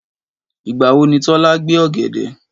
Ìgbà wo ni Tọ́lá gbé ọ̀gẹ̀dẹ̀?